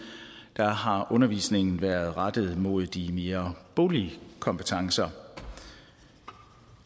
har undervisningen været rettet mod de mere boglige kompetencer